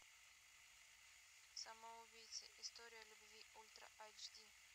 самоубийцы история любви ультра айч ди